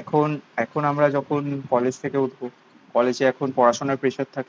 এখন এখন আমরা যখন কলেজ থেকে উঠবো, কলেজে এখন পড়াশুনার প্রেসার থাকবে।